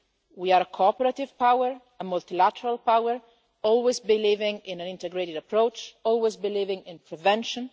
way. We are a cooperative power and a multilateral power, always believing in an integrated approach, always believing in prevention.